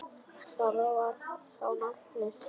Það var þá nafnið.